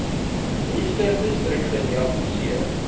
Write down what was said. worcesterdistrik gediagnoseer